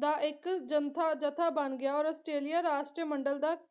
ਦਾ ਇੱਕ ਜੰਥਾ ਜਥਾ ਬਣ ਗਿਆ ਔਰ ਆਸਟ੍ਰੇਲੀਆ ਰਾਸ਼ਟਰ ਮੰਡਲ ਦਾ